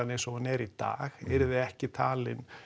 eins og hún er í dag yrði ekki talin